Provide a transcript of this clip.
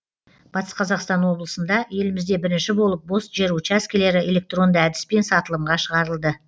батыс қазақстан облысында елімізде бірінші болып бос жер учаскілері электронды әдіспен сатылымға шығарылды